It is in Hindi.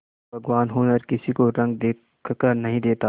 भगवान हुनर किसी को रंग देखकर नहीं देता